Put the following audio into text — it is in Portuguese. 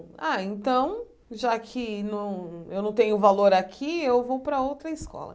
Ah, então, já que não eu não tenho valor aqui, eu vou para outra escola.